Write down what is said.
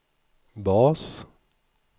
bas